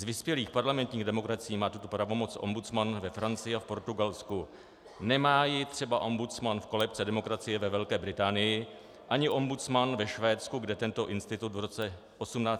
Z vyspělých parlamentních demokracií má tuto pravomoc ombudsman ve Francii a v Portugalsku, nemá ji třeba ombudsman v kolébce demokracie, ve Velké Británii, ani ombudsman ve Švédsku, kde tento institut v roce 1802 vznikl.